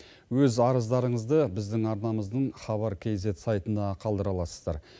өз арыздарыңызды біздің арнамыздың хабар кейзет сайтына қалдыра аласыздар